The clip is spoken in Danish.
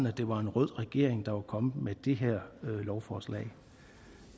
at det var en rød regering der var kommet med det lovforslag